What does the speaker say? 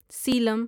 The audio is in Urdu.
سیلم